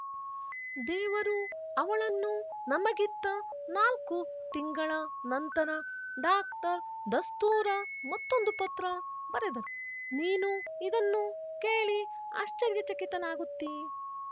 ದೇವರು ಅವಳನ್ನು ನಮಗಿತ್ತ ನಾಲ್ಕು ತಿಂಗಳ ನಂತರ ಡಾಕ್ಟರ್ ದಾಸ್ಥೂರ ಮತ್ತೊಂದು ಪತ್ರ ಬರೆದರು ನೀನು ಇದನ್ನು ಕೇಳಿ ಆಶ್ಚರ್ಯಚಕಿತನಾಗುತ್ತಿ